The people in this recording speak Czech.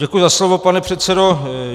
Děkuji za slovo, pane předsedo.